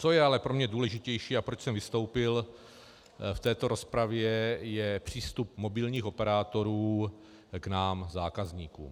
Co je ale pro mě důležitější a proč jsem vystoupil v této rozpravě, je přístup mobilních operátorů k nám zákazníkům.